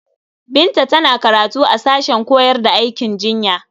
Binta tana karatu a sashen koyar da aikin jinya.